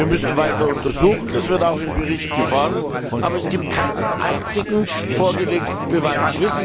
Wir müssen weiter untersuchen, das wird auch im Bericht gefordert, aber es gibt keinen einzigen vorgelegten Beweis.